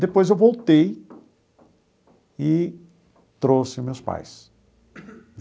Depois eu voltei e trouxe os meus pais.